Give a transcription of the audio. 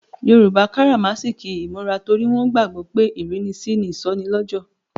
Yoruba karamasiki imura torí wọn gbàgbó pé ìrínisí ni ìsọnilọ́jọ̀.